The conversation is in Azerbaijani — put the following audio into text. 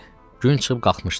Gün çıxıb qalxmışdı.